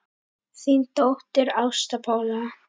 Þín dóttir, Ásta Pála.